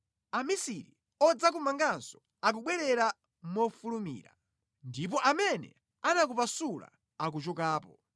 Amisiri odzakumanganso akubwerera mofulumira, ndipo amene anakupasula akuchokapo.